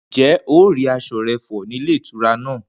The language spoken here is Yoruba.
Ǹjé̩ o rí as̩o̩ re̩ fò̩ nílé ìtura náà?